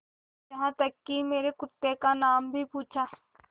यहाँ तक कि मेरे कुत्ते का नाम भी पूछा